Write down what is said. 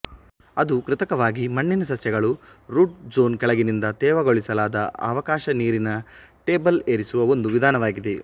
ಅದು ಕೃತಕವಾಗಿ ಮಣ್ಣಿನ ಸಸ್ಯಗಳು ರೂಟ್ ಝೋನ್ ಕೆಳಗಿನಿಂದ ತೇವಗೊಳಿಸಲಾದ ಅವಕಾಶ ನೀರಿನ ಟೇಬಲ್ ಏರಿಸುವ ಒಂದು ವಿಧಾನವಾಗಿದೆ